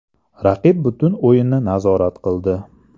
Raqib butun o‘yinni nazorat qildi.